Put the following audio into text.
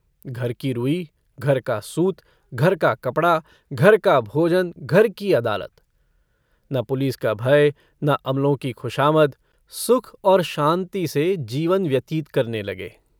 घर की रुई घर का सूत घर का कपड़ा घर का भोजन घर की अदालत न पुलिस का भय न अमलों की खुशामद सुख और शान्ति से जीवन व्यतीत करने लगे।